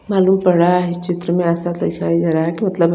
मलुम पड रहा है इस चित्र में एस्सा दिखाई दे रहा है की मतलब --